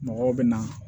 Mɔgɔw bɛ na